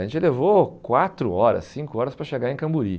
A gente levou quatro horas, cinco horas para chegar em Camburi.